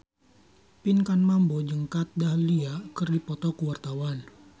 Pinkan Mambo jeung Kat Dahlia keur dipoto ku wartawan